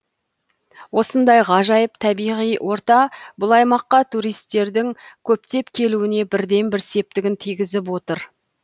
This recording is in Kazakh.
осындай ғажайып табиғи орта бұл аймаққа туристердің көптеп келуіне бірден бір септігін тигізіп отыр